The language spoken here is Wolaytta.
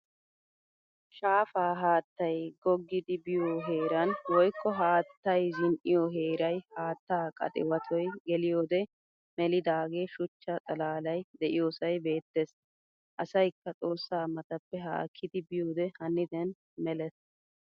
Shaafaa haattay gogidi biyo heeran woykko haattay zin'iyo heeray haattaa qaxiwattoy geliyode melidage shuchcha xalalay deiyosay beettees. Asaykka xoossaa matappe haakidi biyode haniden melees.